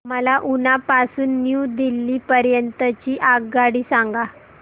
मला उना पासून न्यू दिल्ली पर्यंत ची आगगाडी सांगा